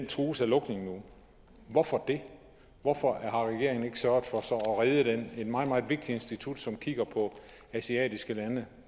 trues af lukning hvorfor det hvorfor har regeringen ikke sørget for at redde det et meget meget vigtigt institut som kigger på asiatiske lande